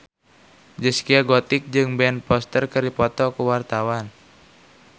Zaskia Gotik jeung Ben Foster keur dipoto ku wartawan